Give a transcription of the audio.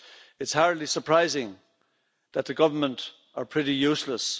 It's hardly surprising that the government is pretty useless.